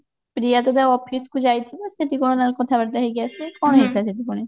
ପ୍ରିୟା ତ ତା office କୁ ଯାଇଥିବ ସେଠି କଣ ତାଙ୍କର କଥା ବାର୍ତା ହେଇକି ଆସିବେ କଣ ହେଇଥିବ ସେଠି ପୁଣି